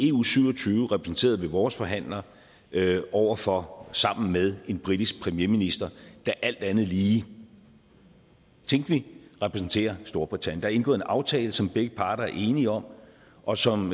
eu syv og tyve repræsenteret ved vores forhandler over for og sammen med en britisk premierminister der alt andet lige tænkeligt repræsenterer storbritannien der er indgået en aftale som begge parter er enige om og som